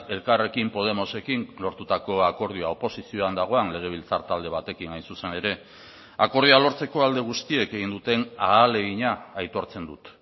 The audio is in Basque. elkarrekin podemosekin lortutako akordioa oposizioan dagoen legebiltzar talde batekin hain zuzen ere akordioa lortzeko alde guztiek egin duten ahalegina aitortzen dut